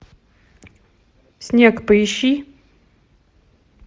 снег поищи